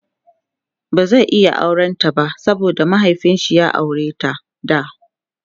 ba zai iya auran ta ba saboda mahiaifinshi ya aureta da